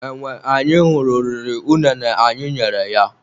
Enwe anyị hụrụ riri unene anyị nyere ya.